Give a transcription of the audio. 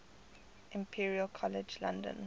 imperial college london